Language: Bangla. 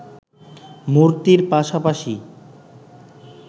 মূর্তির পাশাপাশি